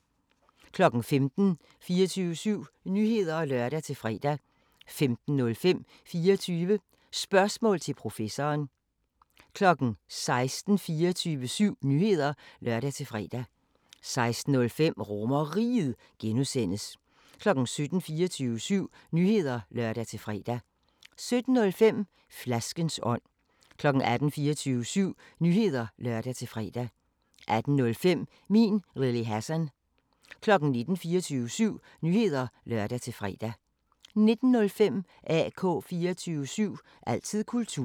15:00: 24syv Nyheder (lør-fre) 15:05: 24 Spørgsmål til Professoren 16:00: 24syv Nyheder (lør-fre) 16:05: RomerRiget (G) 17:00: 24syv Nyheder (lør-fre) 17:05: Flaskens ånd 18:00: 24syv Nyheder (lør-fre) 18:05: Min Lille Hassan 19:00: 24syv Nyheder (lør-fre) 19:05: AK 24syv – altid kultur